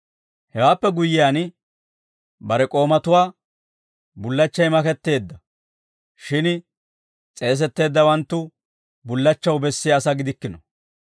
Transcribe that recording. Hewaappe guyyiyaan, bare k'oomatuwaa, ‹Bullachchay maketteedda; shin s'eesetteeddawanttu bullachchaw bessiyaa asaa gidikkino.